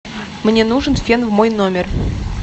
мне нужен фен в мой номер